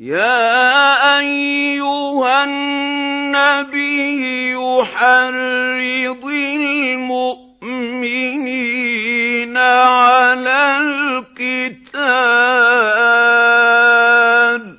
يَا أَيُّهَا النَّبِيُّ حَرِّضِ الْمُؤْمِنِينَ عَلَى الْقِتَالِ ۚ